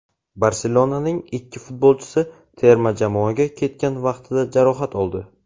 "Barselona"ning ikki futbolchisi terma jamoaga ketgan vaqtida jarohat oldi.